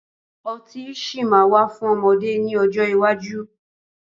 Ọtí sì máa wà fún ọmọdé ni ọjọ́ iwájú